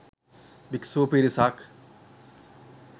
භික්ෂු පිරිසක්